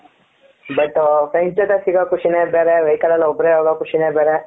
but friends ಜೊತೆ ಸಿಗೋ ಖುಷಿ ನೆ ಬೇರೆ vehicle ನಲ್ಲಿ ಒಬ್ಬರೇ ಹೋಗೋ ಖುಷಿನೆ ಬೇರೆ ,